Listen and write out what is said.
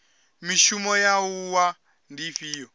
mishumo ya wua ndi ifhio